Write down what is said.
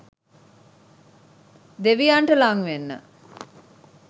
දෙවියන්ට ළං වෙන්න.